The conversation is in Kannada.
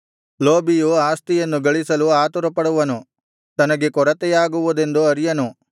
ಲೋಭಿಯು ಆಸ್ತಿಯನ್ನು ಗಳಿಸಲು ಆತುರಪಡುವನು ತನಗೆ ಕೊರತೆಯಾಗುವುದೆಂದು ಅರಿಯನು